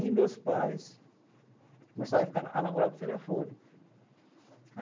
E meus pais começaram a ficar namorar por telefone.